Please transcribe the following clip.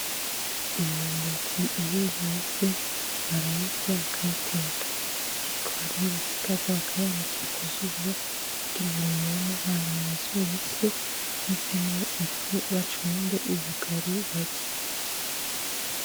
Imyumbati iyo yeze barayirya bakayiteka, ariko hari yo basikaza bakayanikira kuzuba kugira ngo yume ha mabazoyisye ivemo ifu bacumbe ubugari barye.